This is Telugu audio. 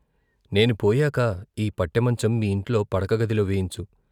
నేను పోయాక ఈ పట్టెమంచం మీ ఇంట్లో పడక గదిలో వేయించు.